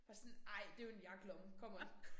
Bare sådan ej det jo en jakkelomme come on